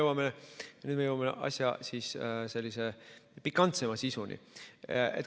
Nüüd me jõuame asja sellise pikantsema sisuni.